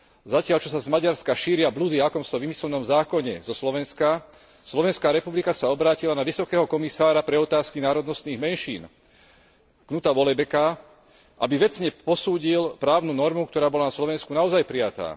Zatiaľ čo sa z Maďarska šíria bludy o akomsi vymyslenom zákone zo Slovenska, Slovenská republika sa obrátila na Vysokého komisára pre otázky národnostných menšín, Knuta Vollebæka, aby vecne posúdil právnu normu, ktorá bola na Slovensku naozaj prijatá.